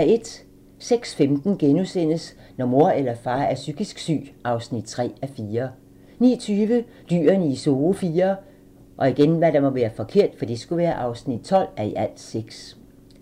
06:15: Når mor eller far er psykisk syg (3:4)* 09:20: Dyrene i Zoo IV (12:6)